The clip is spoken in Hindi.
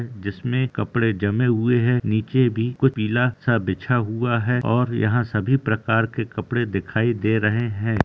जिसमे कपड़े जमे हुए है निचे भी कुछ पिला सा बिछा हुआ है और यहां सभी प्रकार के कपड़े दिखाई दे रहे हैं।